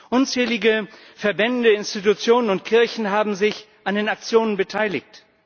Unzählige Verbände, Institutionen und Kirchen haben sich an den Aktionen beteiligt.